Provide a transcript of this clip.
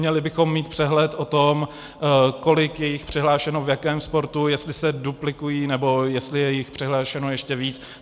Měli bychom mít přehled o tom, kolik je jich přihlášeno v jakém sportu, jestli se duplikují, nebo jestli je jich přihlášeno ještě víc.